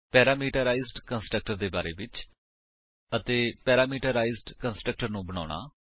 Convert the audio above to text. parameterised constructor ਦੇ ਬਾਰੇ ਵਿੱਚ ਅਤੇ ਪੈਰਾਮੀਟਰਾਈਜ਼ਡ ਕੰਸਟਰਕਟਰ ਨੂੰ ਬਣਾਉਣਾ